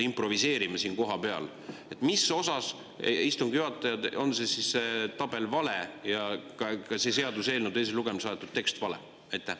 Mis osas, härra istungi juhataja, on siis see tabel vale ja ka see seaduseelnõu teisele lugemisele saadetud tekst vale?